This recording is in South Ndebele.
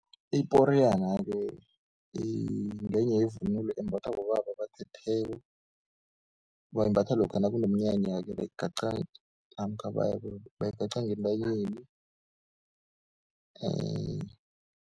Iporiyana-ke ngenye yevunulo embathwa bobaba abathetheko, bayimbatha lokha nakunomnyanya-ke bayigaca namkha bayigaca ngentanyeni .